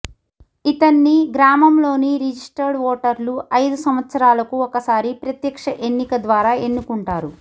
ఇతన్ని గ్రామంలోని రిజస్టర్డ్ ఓటర్లు ఐదు సంవత్సరాలకు ఒకసారి ప్రత్యక్ష ఎన్నిక ద్వారా ఎన్నుకుంటారు